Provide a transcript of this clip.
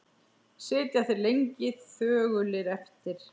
Sitja þeir lengi þögulir eftir.